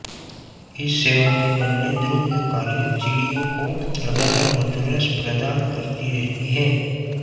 इस सेवा के बदले द्रुमयूकाएँ चीडियों को लगातार मधुरस प्रदान करती रहती हैं